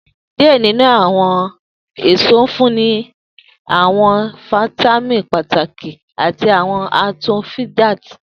Diẹ ninu awọn eso nfunni awọn fitamini pataki ati awọn antioxidants